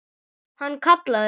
Hann kallaði